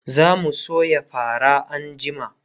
zamu soya fara anjima